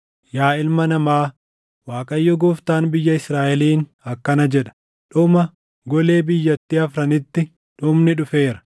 “Yaa ilma namaa, Waaqayyo Gooftaan biyya Israaʼeliin akkana jedha: “ ‘Dhuma! Golee biyyattii afranitti dhumni dhufeera.